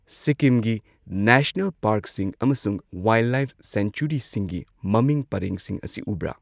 ꯁꯤꯛꯀꯤꯝꯒꯤ ꯅꯦꯁꯅꯦꯜ ꯄꯥꯔꯛꯁꯤꯡ ꯑꯃꯁꯨꯡ ꯋꯥꯏꯜꯗꯂꯥꯏꯐ ꯁꯦꯡꯆꯨꯔꯤꯁꯤꯡꯒꯤ ꯃꯃꯤꯡ ꯄꯔꯦꯡꯁꯤꯡ ꯑꯁꯤ ꯎꯕ꯭ꯔꯥ꯫